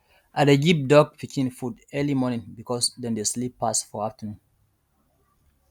i dey give duck pikin food early morning because dem dey sleep pass for afternoon